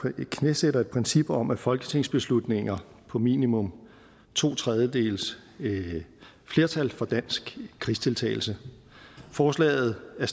at vi knæsætter et princip om folketingsbeslutninger på minimum to tredjedeles flertal for dansk krigsdeltagelse forslaget er